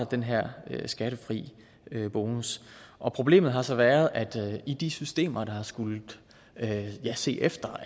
den her skattefri bonus og problemet har så været at i de systemer der skulle se efter